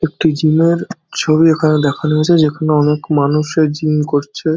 একটি জিমের ছবি এখানে দেখানো হয়েছে যেখানে অনকে মানুষে জিম করছে।